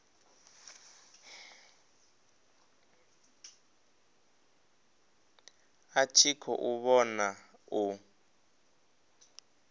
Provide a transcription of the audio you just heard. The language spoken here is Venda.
a tshi khou vhona u